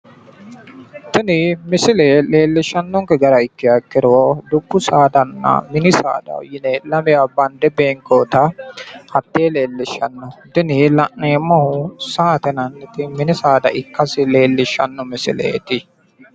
Tini misile leellishshannonke gara ikkiha ikkiro dubbu saadanna mini saada yine lamewa bande beenkoyiita hattee leellishshanno tini la'neemmoti saate yinannihu mini saada ikkasi leellishshanno misileeti